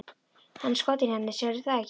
Hann er skotinn í henni, sérðu það ekki?